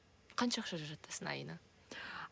қанша ақша жаратасың айына